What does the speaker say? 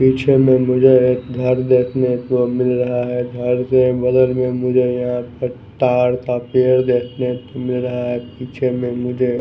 पीछे में मुझे एक घर देखने को मिल रहा है घर के बदल में मुझे यहाँ पर तार का पेड़ देखने को मिल रहा है पीछे में मुझे--